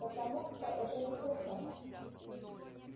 потому что это неслыханно